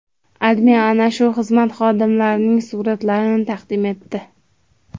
AdMe ana shu xizmat xodimlarining suratlarini taqdim etdi .